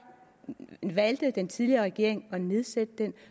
valgte den tidligere regering at nedsætte den